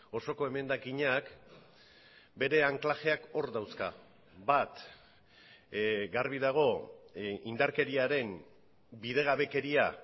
osoko emendakinak bere anklajeak hor dauzka bat garbi dago indarkeriaren bidegabekeria